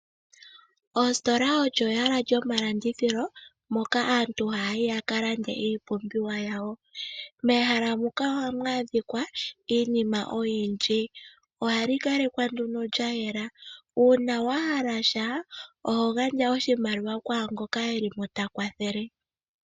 Oositola olyo ehala lyomalandithilo moka aantu haya yi yaka lande iipumbiwa yawo, mehala muka ohamu adhika iinima oyindji, ohali kalekwa nduno lyayela. Uuna wahala sha oho gandja nduno oshimaliwa kwangoka eli mo ta kwathele.